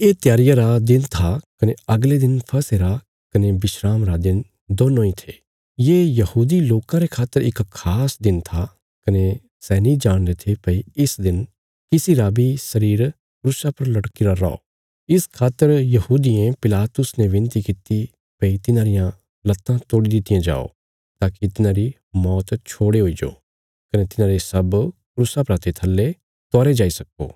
ये त्यारिया रा दिन था कने अगले दिन फसह रा कने विस्राम रा दिन दोन्नों इ थे ये यहूदी लोकां रे खातर इक खास दिन था कने सै नीं चाहन्दे थे भई इस दिन किसी रा बी शरीर क्रूसा पर लटकीरा रौ इस खातर यहूदियें पिलातुस ने विनती कित्ती भई तिन्हांरियां लत्तां तोड़ी दित्तियां जाओ ताकि तिन्हांरी मौत छोड़ हुईजो कने तिन्हांरे शब क्रूसा परा ते थल्ले उतारे जाई सक्को